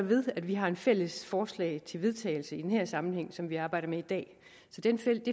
ved at vi har et fælles forslag til vedtagelse i den her sammenhæng som vi arbejder med i dag så det fælles